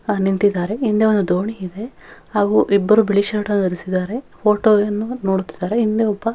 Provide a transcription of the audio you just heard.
ಆಹ್ಹ್ ನಿಂತಿದ್ದಾರೆ ಹಿಂದೆ ಒಂದು ದೋಣಿ ಇದೆ ಹಾಗೂ ಇಬ್ಬರು ಬಿಳಿ ಶರ್ಟ್ ಧರಿಸಿದ್ದಾರೆ ಫೋಟೋ ಅನ್ನು ನೋಡುತ್ತಿದ್ದಾರೆ ಹಿಂದೆ ಒಬ್ಬ--